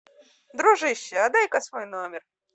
дружище а дай ка свой номер